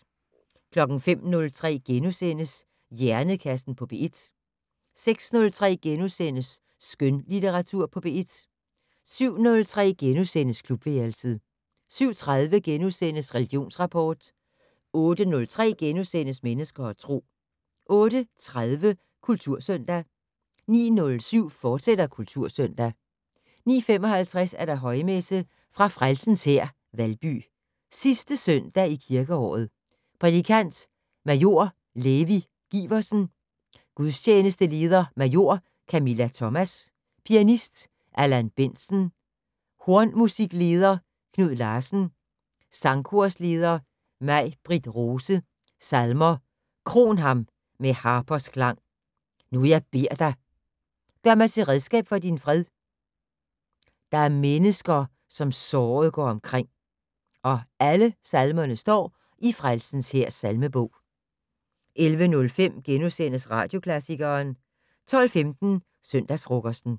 05:03: Hjernekassen på P1 * 06:03: Skønlitteratur på P1 * 07:03: Klubværelset * 07:30: Religionsrapport * 08:03: Mennesker og Tro * 08:30: Kultursøndag 09:07: Kultursøndag, fortsat 09:55: Højmesse - fra Frelsens Hær, Valby. Sidste søndag i kirkeåret. Prædikant: Major Levi Giversen. Gudstjenesteleder: Major Camilla Thomas. Pianist: Allan Bendtsen. Hornmusikleder: Knud Larsen. Sangkorsleder: May-Britt Rose. Salmer: "Kron ham med harpers klang". "Nu jeg beder dig". "Gør mig til redskab for din fred". "Der er mennesker som såret går omkring". (Alle salmer står i Frelsens hærs salmebog). 11:05: Radioklassikeren * 12:15: Søndagsfrokosten